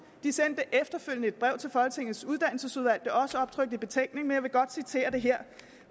de sendte efterfølgende et brev til folketingets uddannelsesudvalg og også optrykt i betænkningen men jeg vil godt citere her